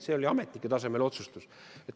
See oli ametnike tasemel otsustus.